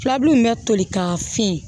Filabulu min bɛ toli ka fiɲɛ